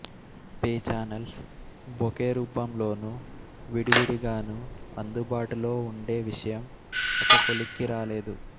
pay channels bouquet రూపంలోనూ విడివిడిగానూ అందుబాటులో ఉండే విషయం ఒక కొలిక్కి రాలేదు